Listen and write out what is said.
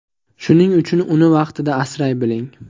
Shuning uchun uni vaqtida asray biling!